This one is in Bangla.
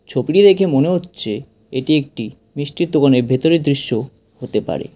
ছবিটি দেখে মনে হচ্ছে এটি একটি মিষ্টির দোকানের ভেতরে দৃশ্য হতে পারে।